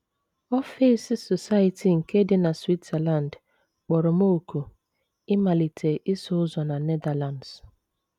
Ọfịs Society nke dị na Switzerland kpọrọ m òkù ịmalite ịsụ ụzọ na Netherlands.